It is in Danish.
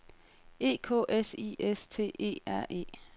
E K S I S T E R E